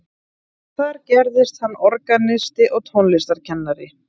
Þar gerðist hann organisti og tónlistarkennari.